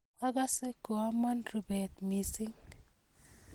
Akase koama rubeet missing